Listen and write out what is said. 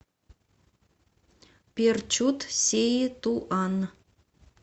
перчут сеи туан